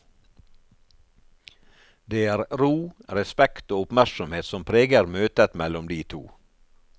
Det er ro, respekt og oppmerksomhet som preger møtet mellom de to.